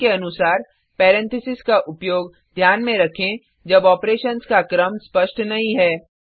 नियम के अनुसार पैरेंथेसिस का उपयोग ध्यान में रखें जब ऑपरेशन्स का क्रम स्पष्ट नहीं है